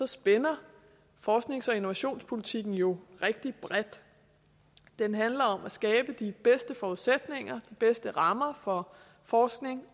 spænder forsknings og innovationspolitikken jo rigtig bredt den handler om at skabe de bedste forudsætninger de bedste rammer for forskning